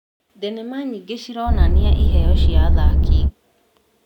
Thenema nyingĩ cironania iheo cia athaki.